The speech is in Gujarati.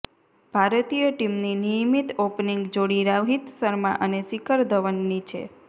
ભારતીય ટીમની નિયમિત ઓપનિંગ જોડી રોહિત શર્મા અને શિખર ધવનની છે